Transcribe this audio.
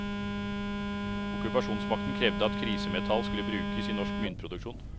Okkupasjonsmakten krevde at krisemetall skulle brukes i norsk myntproduksjon.